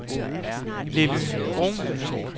Lilly Bruhn